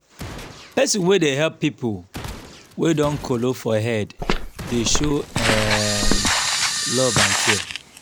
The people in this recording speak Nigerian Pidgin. pesin wey dey help pipo wey don kolo for head dey show um love and care.